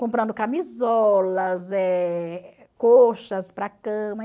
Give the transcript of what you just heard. Comprando camisolas, eh... colchas para cama.